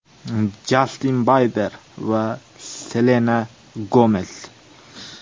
Jastin Biber va Selena Gomes.